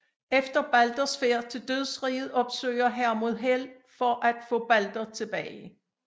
Efter Balders færd til dødsriget opsøger Hermod Hel for at få Balder tilbage